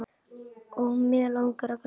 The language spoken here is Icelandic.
Og mig langar að gráta.